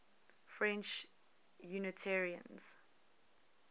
french unitarians